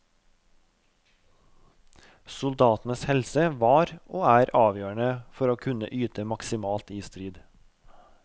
Soldatenes helse var og er avgjørende for å kunne yte maksimalt i strid.